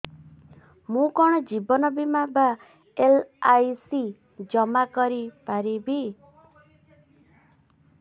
ମୁ କଣ ଜୀବନ ବୀମା ବା ଏଲ୍.ଆଇ.ସି ଜମା କରି ପାରିବି